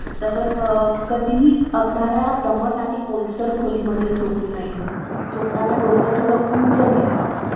हां उद्या येणार आहे आपण बोलू ते franchise विषयी मी म्हंटलो माझ्या मित्राची आहे. भारी दुकान आहे कपड्याचं भरपूर स्वस्त आहे. नावपण झालेलं आहे. already त्याचे दोन तीन franchise दिलेल्या आहेत त्याला